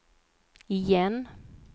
igen